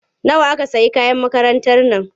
Nawa aka sayi kayan makarantar nan?